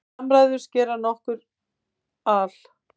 Samræðurnar gerast nokkuð al